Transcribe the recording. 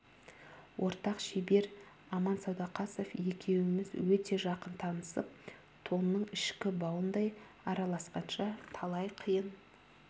ортақ шебер аман сәдуақасов екеуміз өте жақын танысып тонның ішкі бауындай араласқанша талай қиын